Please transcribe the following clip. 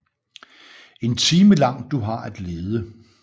En time lang du har at lede